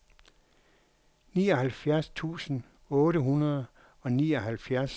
nioghalvfjerds tusind otte hundrede og nioghalvfjerds